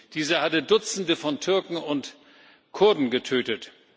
Dieser hatte Dutzende von Türken und Kurden getötet.